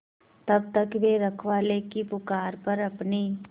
तब तक वे रखवाले की पुकार पर अपनी